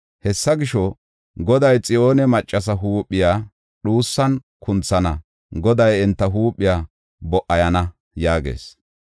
Hessa gisho, Goday Xiyoone maccasa huuphiya dhuusan kunthana; Goday enta huuphiya bo77ayana” yaagees.